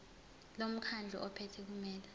lomkhandlu ophethe kumele